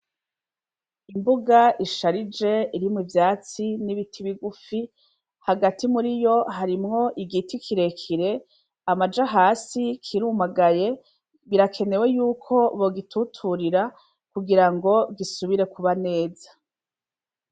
Imbuga isharije irimwe ivyatsi n'ibiti bigufi hagati muri yo harimwo igiti kirekire amaje hasi kirumagaye birakenewe yuko bogituturira kugira ngo gisubire kuba neza.